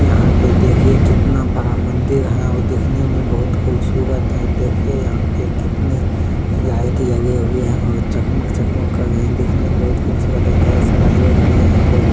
यहां पर देखिए कितना बड़ा मंदिर है और दिखने में बहुत खुबसुरत है देखिए यहां पे कितने लाइट लगे हैऔर और चक मक चक मक कर रहा है देखने बहुत खूबसूरत है ढेर सारे लोग भी है।